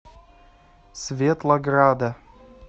светлограда